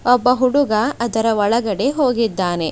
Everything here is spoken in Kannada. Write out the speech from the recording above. ಒಬ್ಬ ಹುಡುಗ ಅದರ ಒಳಗಡೆ ಹೋಗಿದ್ದಾನೆ.